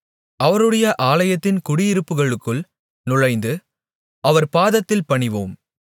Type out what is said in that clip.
அவருடைய ஆலயத்தின் குடியிருப்புகளுக்குள் நுழைந்து அவர் பாதத்தில் பணிவோம்